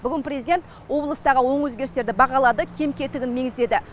бүгін президент облыстағы оң өзгерістерді бағалады кем кетігін меңзеді